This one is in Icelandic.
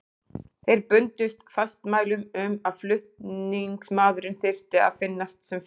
Þeir bundust fastmælum um að flutningsmaðurinn þyrfti að finnast sem fyrst.